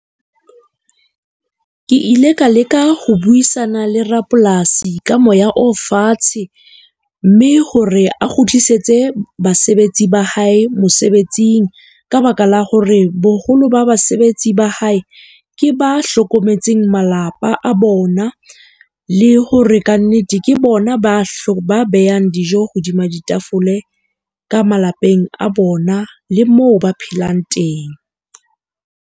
Ke ile ka leka ho buisana le rapolasi ka moya o fatshe, mme hore a kgutlisetse basebetsi ba hae mosebetsing. Ka baka la hore boholo ba basebetsi ba hae ke ba hlokometseng malapa a bona le hore kannete ke bona ba ba behang dijo hodima ditafole ka malapeng a bona, le moo ba phelang teng.